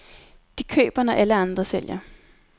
De køber, når alle andre sælger.